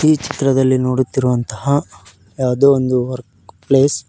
ಈ ಚಿತ್ರದಲ್ಲಿ ನೋಡುತ್ತಿರುವಂತಹ ಯಾವುದೋ ವರ್ಕ್ ಒಂದು ಪ್ಲೇಸ್ --